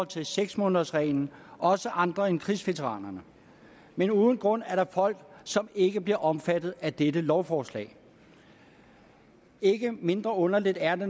til seks månedersreglen også andre end krigsveteranerne men uden grund er der folk som ikke bliver omfattet af dette lovforslag ikke mindre underligt er